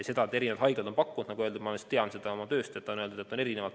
Seda, et erinevad haiglad on pakkunud, tean ma oma tööst.